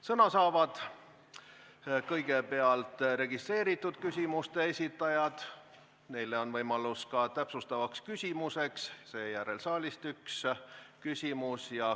Sõna saavad kõigepealt registreeritud küsimuste esitajad, neil on võimalus ka täpsustavaks küsimuseks, seejärel saalist üks küsimus.